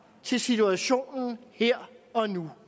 til situationen her og nu